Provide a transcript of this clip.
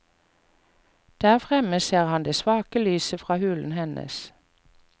Der fremme ser han det svake lyset fra hulen hennes.